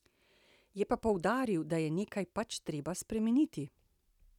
Je pa poudaril, da je nekaj pač treba spremeniti.